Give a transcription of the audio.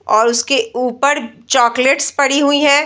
और उसके ऊपर चॉकलेट्स पड़ी हुई हैं।